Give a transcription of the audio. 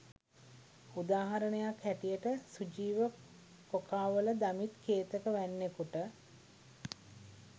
උදාහරණයක් හැටියට සුජීව කොකාවල දමිත් කේතක වැන්නකුට